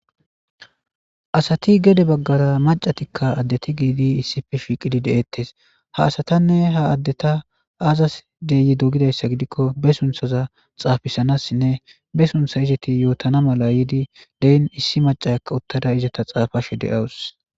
Asati gede baggara macatikka addeti giidi issife fiiqidi de'eettes ha asatanne ha addeta aazas deyi dogidayssa gidikko be sunthaza xaafisanassinne be suntha izati yootana mala yiidi deen issi macakka uttada izata xaafashe de'awus.